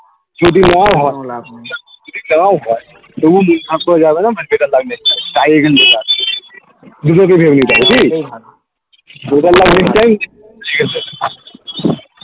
তবুও মিটমাট করা যাবে না তোমার যেটা লাগবে এখান